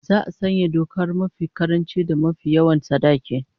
Za'a sanya dokar mafi karanci da mafi yawan sadaki